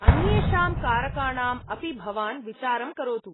अन्येषां कारकाणाम् अपि भवान् विचारं करोतु।